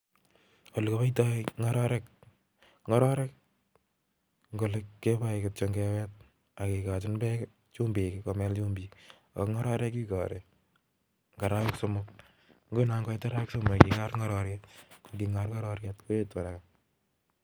Olekipaitai ngororek, ngororek kikari Eng arawek. somok ngekor ngororyet koetu (haraka)